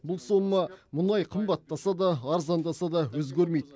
бұл сома мұнай қымбаттаса да арзандаса да өзгермейді